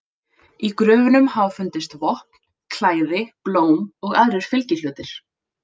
Í gröfunum hafa fundist vopn, klæði, blóm og aðrir fylgihlutir.